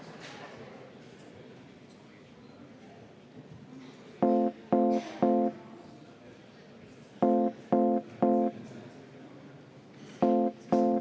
Siim Pohlak, palun!